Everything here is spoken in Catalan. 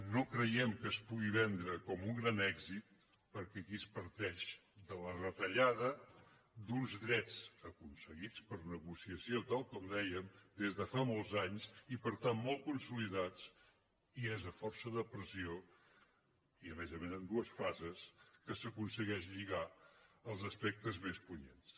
no creiem que es pugui vendre com un gran èxit perquè aquí es parteix de la retallada d’uns drets aconseguits per negociació tal com deia des de fa molts anys i per tant molt consolidats i és a força de pressió i a més a més en dues fases que s’aconsegueixen lligar els aspectes més punyents